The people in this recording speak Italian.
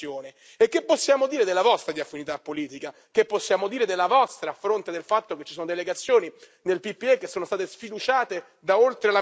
Che possiamo dire della vostra, a fronte del fatto che ci sono delegazioni nel PPE che sono state sfiduciate da oltre la metà del proprio gruppo politico vero onorevole Schöpflin?